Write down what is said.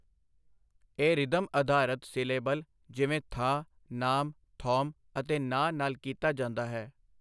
ਇਹ ਰਿਦਮ ਅਧਾਰਤ ਸਿਲੇਬਲ ਜਿਵੇਂ ਥਾ, ਨਾਮ, ਥੌਮ ਅਤੇ ਨਾ ਨਾਲ ਕੀਤਾ ਜਾਂਦਾ ਹੈ।